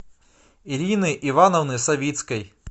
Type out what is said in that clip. ирины ивановны савицкой